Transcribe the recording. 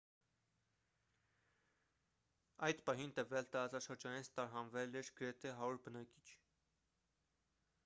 այդ պահին տվյալ տարածաշրջանից տարհանվել էր գրեթե 100 բնակիչ